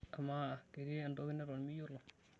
Amaa, ketii entoki neton miyiolo?